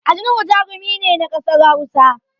Ali nuhu jarumi ne na ƙasar Hausa